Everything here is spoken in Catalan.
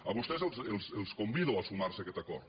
a vostès els convido a sumar se a aquest acord